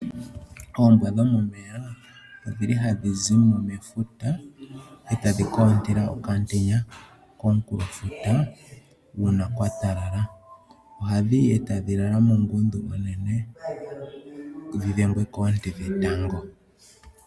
Oombwa dhomomeya odhi li ha dhi zi mo mefuta e ta dhi ka ontela okamutenya, komunkulofuta uuna kwa talala, oha ohadhi yi e ta dhi lala muungundu, dhi dhengwe koonte dhetango.